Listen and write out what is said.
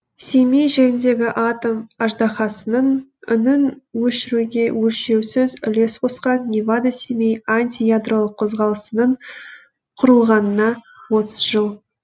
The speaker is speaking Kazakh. семей жеріндегі атом аждаһасының үнін өшіруге өлшеусіз үлес қосқан невада семей антиядролық қозғалысының құрылғанына отыз жыл